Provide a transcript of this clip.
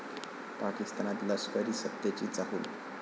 पाकिस्तानात लष्करीसत्तेची चाहूल